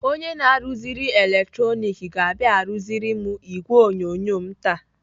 Onye na-arụziri eletroniks ga-abịa arụziri m ìgwè onyonyo m taa.